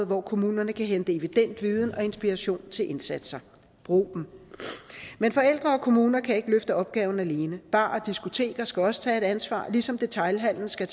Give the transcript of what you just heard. hvor kommunerne kan hente evident viden og inspiration til indsatser brug dem men forældre og kommuner kan ikke løfte opgaven alene barer og diskoteker skal også tage et ansvar ligesom detailhandelen skal